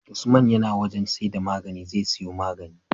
Usman yAna wajan siyar da magani zai siyo magani